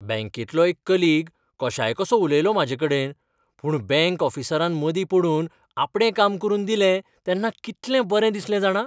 बँकेंतलो एक कलिग कशायकसो उलयलो म्हाजेकडेन, पूण बँक ऑफिसरान मदीं पडून आपणें काम करून दिलें तेन्ना कितलें बरें दिसलें जाणा.